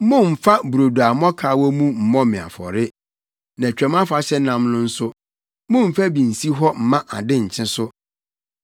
“Mommfa brodo a mmɔkaw wɔ mu mmɔ me afɔre. Na Twam Afahyɛ nam no nso, mommfa bi nsi hɔ mma ade nkye so.